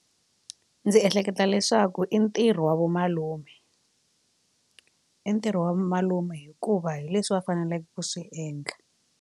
Ndzi ehleketa leswaku i ntirho wa vo malume i ntirho wa vo malume hikuva hi leswi va faneleke ku swi endla.